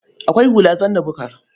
Akwai hula zanna-bukar.